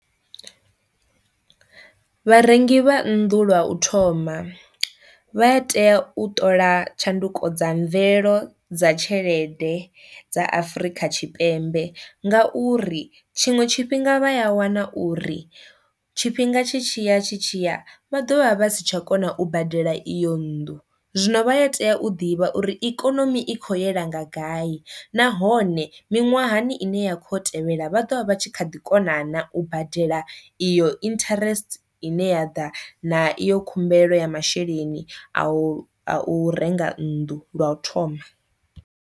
Vharengi vha nnḓu lwa u thoma vha a tea u ṱola tshanduko dza mvelelo dza tshelede dza Afurika Tshipembe, ngauri tshiṅwe tshifhinga vha a wana uri tshifhinga tshi tshiya tshi tshiya vha ḓovha vha si tsha kona u badela iyo nnḓu. Zwino vha ya tea u ḓivha uri ikonomi i kho yela nga gai, nahone miṅwahani ine ya kho tevhela vha ḓovha vha tshi kha ḓi kona na u badela iyo interest ine ya ḓa na iyo khumbelo ya masheleni a u a u renga nnḓu lwa u thoma.